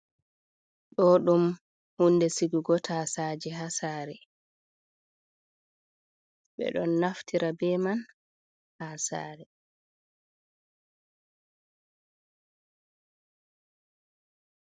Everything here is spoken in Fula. Ɗo ɗum hunde sigugo tasaje ha sare, ɓe ɗon naftira be man ha sare.